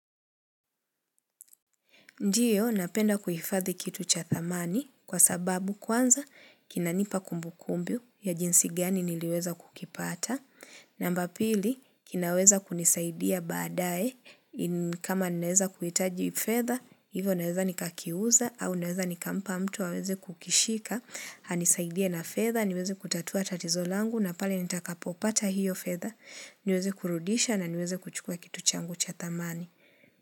Ndiyo, napenda kuhifadhi kitu cha thamani kwa sababu kwanza kinanipa kumbu kumbu ya jinsi gani niliweza kukipata. Namba pili, kinaweza kunisaidia baadae kama ninaeza kuhitaji fedha, hivo naeza nikakiuza au naweza nikampa mtu waweze kukishika. Anisaidia na fedha, niweze kutatua tatizo langu na pale nitakapo pata hiyo fedha, niweze kurudisha na niweze kuchukua kitu changu cha thamani.